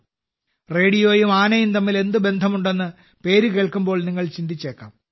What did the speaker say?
റേഡിയോയും ആനയും തമ്മിൽ എന്ത് ബന്ധമുണ്ടെന്ന് പേര് കേൾക്കുമ്പോൾ നിങ്ങൾ ചിന്തിച്ചേക്കാം